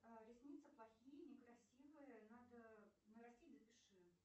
ресницы плохие некрасивые надо нарастить запиши